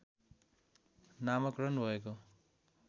नामाकरण भएको